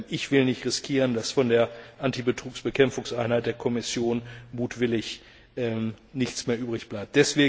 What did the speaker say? Ich will nicht riskieren, dass von der Antibetrugsbekämpfungseinheit der Kommission mutwillig nichts mehr übrig bleibt.